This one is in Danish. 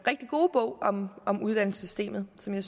rigtig gode bog om om uddannelsessystemet som jeg